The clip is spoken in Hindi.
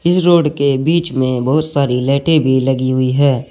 रोड के बीच में बहुत सारी लाइटें भी लगी हुई है।